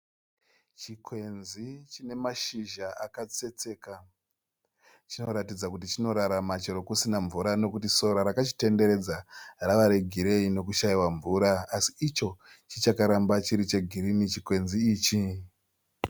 Chikwenzi chine mashizha akatsetseka. Chinoratidza kuti chinorarama chero kusina mvura nokuti sora rakachitenderedza rava regireyi nokushaiwa mvura asi icho chichakaramba chiri chegirinhi chikwenzi ichi.